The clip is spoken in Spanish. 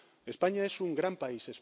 España es un gran